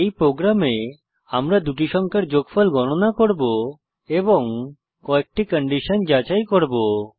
এই প্রোগ্রামে আমরা দুটি সংখ্যার যোগফল গণনা করব এবং কয়েকটি কন্ডিশন যাচাই করব